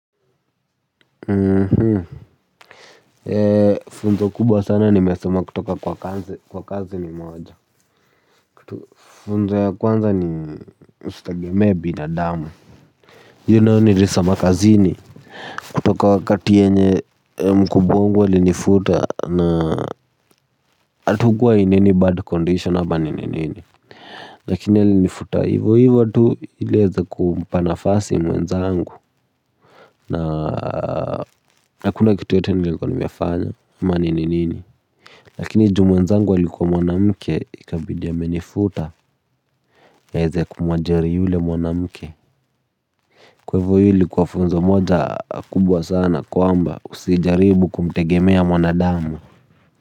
Funzo kubwa sana nimesoma kutoka kwa kazi ni moja kitu funzo ya kwanza ni usitegemee binadamu hii nayo nilisoma kazini kutoka wakati yenye mkubwa wangu alinifuta na hatukua in any bad condition ama ni nini lakini alinifuta hivo hivo tu ili aweze kumpa nafasi mwenzangu na hakuna kitu yoyote nilikua nimefanya ama ni nini. Lakini juu mwenzangu alikuwa mwanamke ikabidi amenifuta aweze kumwajiri yule mwanamke. Kwa hivo hii ilikuwa funzo moja kubwa sana kwamba usijaribu kumtegemea mwanadamu.